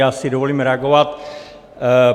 Já si dovolím reagovat.